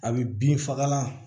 A bɛ bin fagalan